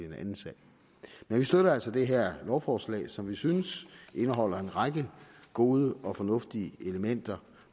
en anden sag men vi støtter altså det her lovforslag som vi synes indeholder en række gode og fornuftige elementer